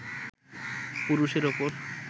পুরুষের ওপর